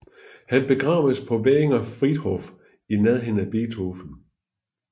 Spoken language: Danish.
Han begravedes på Währinger Friedhof i nærheden af Beethoven